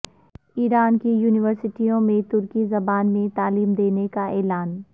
ایران کی یونیورسٹیوں میں ترکی زبان میں تعلیم دینے کا اعلان